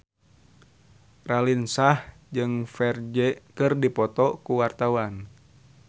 Raline Shah jeung Ferdge keur dipoto ku wartawan